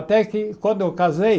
Até que quando eu casei...